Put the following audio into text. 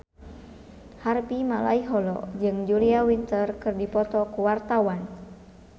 Harvey Malaiholo jeung Julia Winter keur dipoto ku wartawan